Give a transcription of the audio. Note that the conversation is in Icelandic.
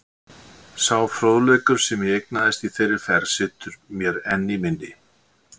Sá fróðleikur, sem ég eignaðist í þeirri ferð, situr mér enn í minni.